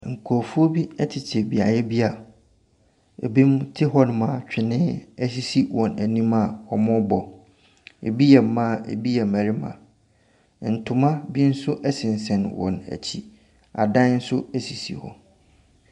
Nkorɔfoɔ bi ɛtete beaeɛ bi a ebinom te hɔ nom a twene esisi wɔn anim a wɔrebɔ. Ebi yɛ mmaa ebi yɛ mmarima. Ntoma bi nso ɛsensɛn wɔn akyi. Adan nso esisi hɔ.